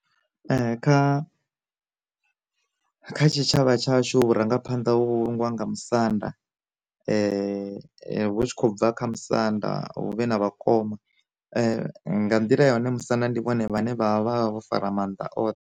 Kha, kha tshi tshavha tshashu vhu rangaphanḓa vhangwa nga musanda vhu tshi khou bva kha musanda hu vhe na vhakoma, nga nḓila ya hone musanda ndi vhone vhane vha vha vha vho fara maanḓa oṱhe.